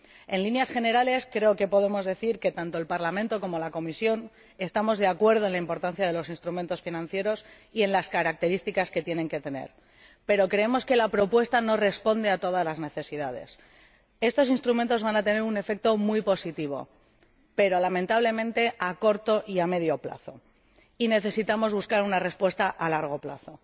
En líneas generales, creo que podemos decir que tanto el Parlamento como la Comisión estamos de acuerdo en la importancia de los instrumentos financieros y en las características que tienen que tener, pero nosotros creemos que la propuesta no responde a todas las necesidades estos instrumentos van a tener un efecto muy positivo pero, lamentablemente, a corto y a medio plazo, y necesitamos buscar una respuesta a largo plazo.